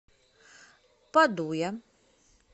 падуя